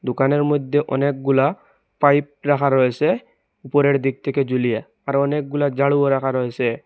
দোকানের মইধ্যে অনেকগুলা পাইপ রাখা রয়েসে উপরের দিক থেকে জুলিয়ে আর অনেকগুলা জারুও রাখা রইসে।